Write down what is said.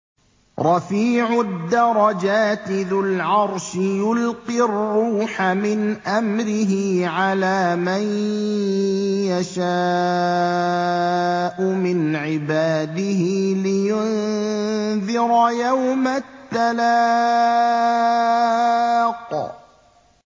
رَفِيعُ الدَّرَجَاتِ ذُو الْعَرْشِ يُلْقِي الرُّوحَ مِنْ أَمْرِهِ عَلَىٰ مَن يَشَاءُ مِنْ عِبَادِهِ لِيُنذِرَ يَوْمَ التَّلَاقِ